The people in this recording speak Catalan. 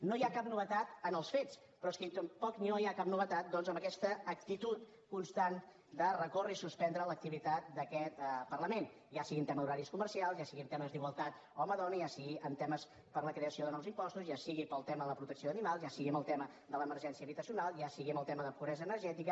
no hi ha cap novetat en els fets però és que tampoc no hi ha cap novetat doncs amb aquesta actitud constant de recórrer i suspendre l’activitat d’aquest parlament ja sigui en tema d’horaris comercials ja sigui en temes d’igualtat home dona ja sigui en temes per a la creació de nous impostos ja sigui per al tema de la protecció d’animals ja sigui amb el tema de l’emergència habitacional ja sigui amb el tema de pobresa energètica